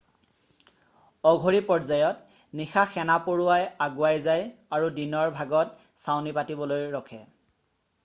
অঘৰী পৰ্যায়ত নিশা সেনাপৰুৱাৱাই আগুৱাই যায় আৰু দিনৰ ভাগতচাউনি পাতিবলৈ ৰখে